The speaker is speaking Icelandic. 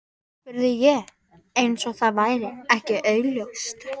spurði ég- eins og það væri ekki augljóst.